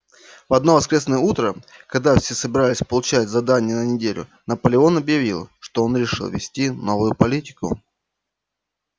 в одно воскресное утро когда все собирались получать задания на неделю наполеон объявил что он решил ввести новую политику